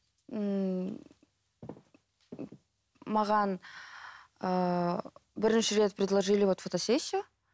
ммм маған ыыы бірінші рет предложили вот фотосессию